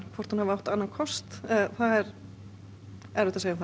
hvort hún átti annan kost er erfitt að segja það